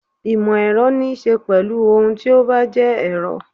Ìmọ̀-Ẹ̀rọ ní ṣe pẹ̀lú ohun tí ó bá jẹ́ Ẹ̀rọ.